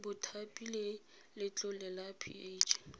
mothapi le letlole la ph